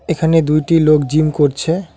এখানে দুইটি লোক জিম করছে।